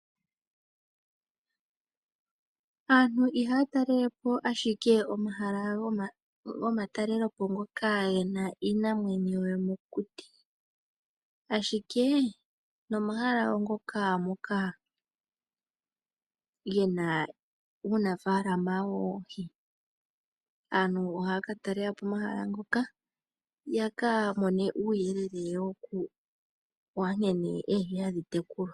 Aantu ihaya talelapo ashike omahala gomatalelepo ngoka gena iinamwenyo yomokuti, ashike nomahala ngoka gena uunafaalama woohi. Aantu ohaya katalelapo omahala ngoka yaka mone uuyelele wankene oohi hadhi tekulwa.